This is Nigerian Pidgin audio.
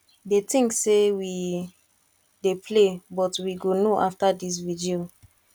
dey think say we dey play but we go know after dis vigil